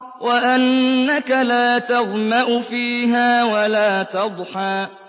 وَأَنَّكَ لَا تَظْمَأُ فِيهَا وَلَا تَضْحَىٰ